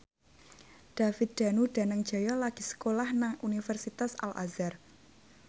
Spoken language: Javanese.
David Danu Danangjaya lagi sekolah nang Universitas Al Azhar